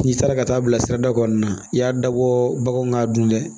N'i taara ka taa bila sirada kɔnɔna na i y'a dabɔ baganw ka dun dɛ